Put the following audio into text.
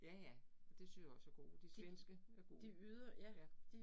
Ja ja, og det synes jeg er gode, de svenske er gode, ja